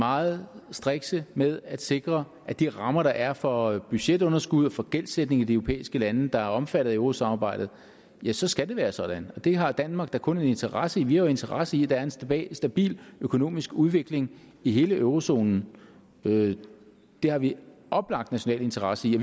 meget strikse med at sikre de rammer der er for budgetunderskud og for gældsætning i de europæiske lande der er omfattet af eurosamarbejdet så skal det være sådan det har danmark da kun en interesse i vi har jo interesse i at der er en stabil stabil økonomisk udvikling i hele eurozonen det har vi oplagt national interesse i